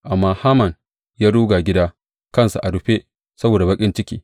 Amma Haman ya ruga gida, kansa a rufe, saboda baƙin ciki.